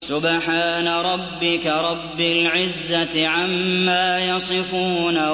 سُبْحَانَ رَبِّكَ رَبِّ الْعِزَّةِ عَمَّا يَصِفُونَ